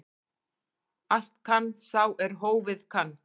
Allt kann sá er hófið kann.